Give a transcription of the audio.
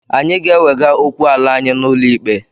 Anyị ga-ewega okwu ala anyị n'ụlọ ikpe.